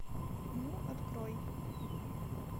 ню открой